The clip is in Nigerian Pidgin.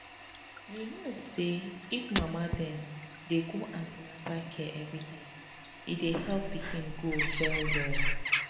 you know say if mama dem dey go an ten atal care every time e dey help pikin grow well well